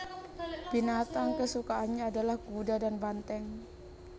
Binatang kesukaannya adalah kuda dan banteng